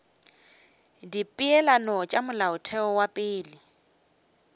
dipeelano tša molaotheo wa pele